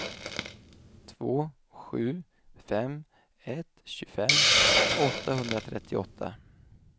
två sju fem ett tjugofem åttahundratrettioåtta